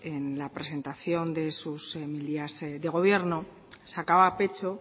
en la presentación de sus mil días de gobierno sacaba pecho